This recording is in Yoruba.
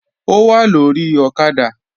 Ó wà lórí ọ̀kadà